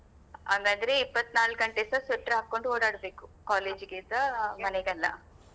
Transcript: ಹಂಗಂದ್ರೆ ಇಪ್ಪತ್ತನಾಲ್ಕು ಗಂಟೆ ಸಹ sweater ಹಾಕೊಂಡು ಓಡಾಡ್ಬೇಕು college ಗೆಸ ಮನೆಗೆಲ್ಲ.